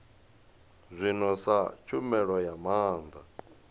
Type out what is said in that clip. zwino sa tshumelo ya maana